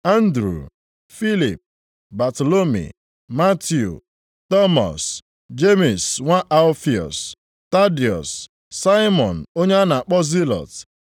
Andru, Filip, Batalomi, Matiu, Tọmọs, Jemis nwa Alfiọs, Tadiọs, Saimọn onye a na-akpọ Zilọt,